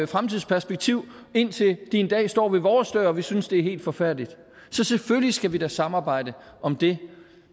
fremtidsperspektiv indtil de en dag står ved vores dør og vi synes det er helt forfærdeligt så selvfølgelig skal vi da samarbejde om det